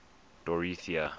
dorothea